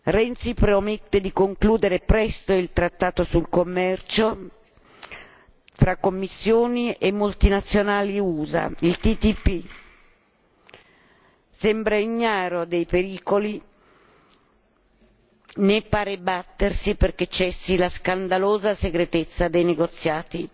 Renzi promette di concludere presto il trattato sul commercio fra commissioni e multinazionali USA, il TTP sembra ignaro dei pericoli, né pare battersi perché cessi la scandalosa segretezza dei negoziati.